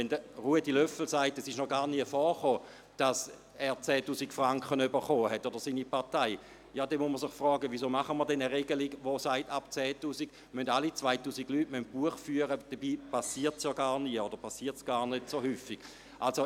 Wenn Ruedi Löffel sagt, es sei noch gar nie vorgekommen, dass er oder seine Partei 10 000 Franken erhalten habe, dann muss man sich fragen, warum wir eine Regelung machen wollen, die besagt, dass alle 2000 Leute Buch führen müssen wegen einer Regelung, die ab 10 000 Franken gilt, obwohl dies nicht häufig vorkommt.